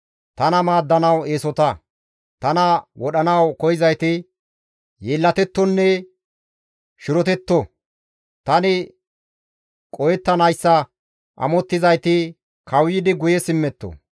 Tana wodhanawu koyzayti yeellatettonne shirotetto; Tani qohettanayssa amottizayti, kawuyidi guye simmetto.